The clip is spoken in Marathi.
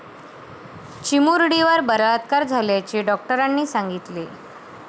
चिमुरडीवर बलात्कार झाल्याचे डॉक्टरांनी सांगितले.